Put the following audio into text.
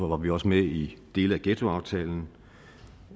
var vi også med i dele af ghettoaftalen